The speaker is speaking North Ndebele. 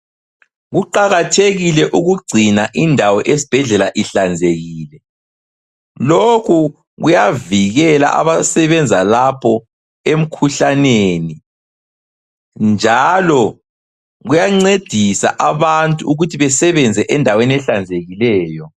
Kuqakathekile ukugcina indawo esibhedlela ihlanzekile lokhu kuyavikela abasebenza lapho emkhuhlaneni njalo kuyancedisa abantu ukuthi besebenze endaweni ehlanzekileyo.